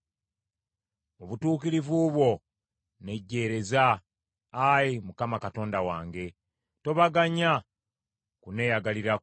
Mu butuukirivu bwo nnejjeereza, Ayi Mukama Katonda wange, tobaganya kunneeyagalirako.